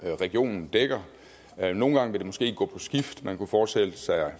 regionen dækker nogle gange vil det måske gå på skift man kunne forestille sig